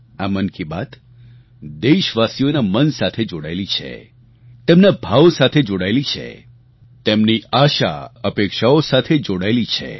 આ મન કી બાત દેશવાસીઓના મન સાથે જોડાયેલી છે તેમના ભાવ સાથે જોડાયેલી છે તેમની આશાઅપેક્ષાઓ સાથે જોડાયેલી છે